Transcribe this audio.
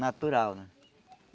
natural, né?